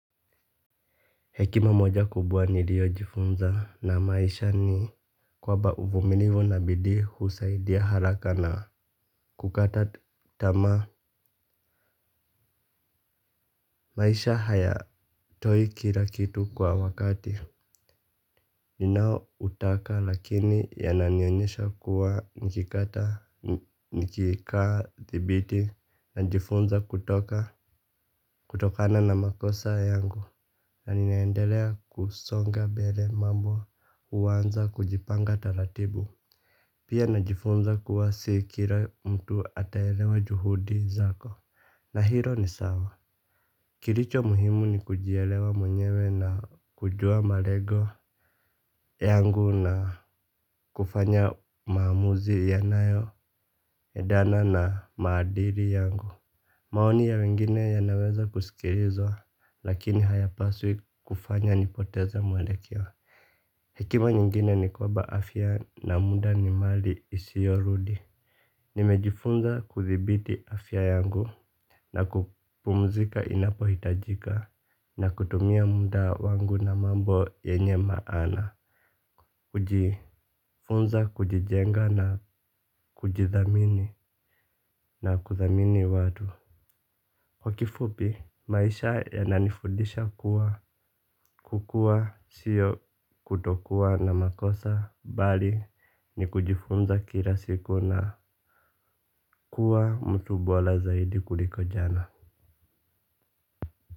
Hekima moja kubwa nilio jifunza na maisha ni kwamba uvumilivu na bidii husaidia haraka na kukata tamaa. Maisha hayatoi kila kitu kwa wakati. Ninao utaka lakini yananionyesha kuwa nikikata nikikaa thibiti najifunza kutoka kutokana na makosa yangu. Na ninaendelea kusonga mbele mambo huanza kujipanga taratibu. Pia najifunza kuwa si kila mtu ataelewa juhudi zako. Na hilo ni sawa. Kilicho muhimu ni kujielewa mwenyewe na kujua malengo yangu na kufanya maamuzi yanayoendana na maadili yangu. Maoni ya wengine yanaweza kusikilizwa lakini hayapaswi kufanya nipoteze mwelekeo. Hekima nyingine ni kwamba afya na muda ni mali isiyorudi. Nimejifunza kuthibiti afya yangu na kupumzika inapo hitajika na kutumia muda wangu na mambo yenye maana. Kujifunza kujijenga na kujithamini na kuthamini watu. Kwa kifupi maisha yananifudisha kuwa kukua siyo kutokuwa na makosa. Bali ni kujifunza kila siku na kuwa mtu bora zaidi kuliko jana.